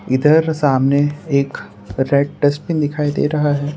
इधर सामने एक रेड डस्टबिन दिखाई दे रहा है।